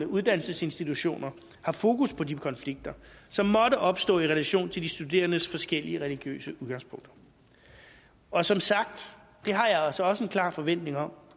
uddannelsesinstitutioner har fokus på de konflikter som måtte opstå i relation til de studerendes forskellige religiøse udgangspunkter og som sagt har jeg altså også en klar forventning om